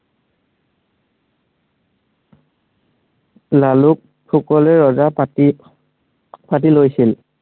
লালুক ফুকনে ৰজা পাতি পাতি লৈছিল।